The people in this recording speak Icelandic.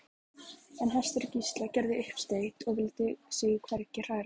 En hestur Gísla gerði uppsteyt og vildi sig hvergi hræra.